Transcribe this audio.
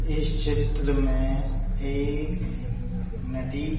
इस चित्र में एक नदी --